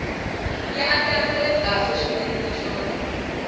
ya andlariwile kahle swinene naswona